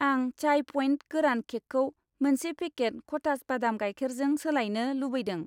आं चाय पइन्ट गोरान केकखौ मोनसे पेकेट कथास बादाम गाइखेर जों सोलायनो लुबैदों